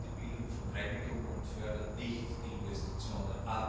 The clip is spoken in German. Das trifft die Bildung von Eigentum und fördert nicht die Investitionen.